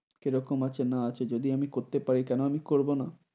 কিরকম আছে না আছে, যদি আমি করতে পারি কেনো আমি করবোনা?